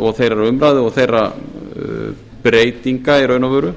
og þeirrar umræðu og þeirra breytinga í raun og veru